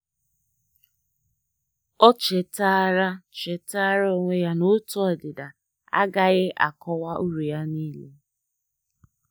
O chetaara chetaara onwe ya na otu ọdịda agaghị akọwa uru ya niile.